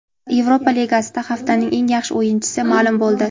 Yevropa Ligasida haftaning eng yaxshi o‘yinchisi ma’lum bo‘ldi.